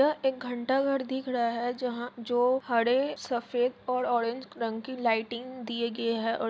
यह एक घंटाघर दिख रहा है जहां जो हरे सफ़ेद ऑरेंज कलर की लाइटिंग दिय गए हैंऔर--